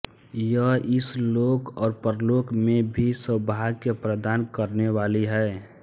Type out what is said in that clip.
यह इस लोक और परलोक में भी सौभाग्य प्रदान करने वाली है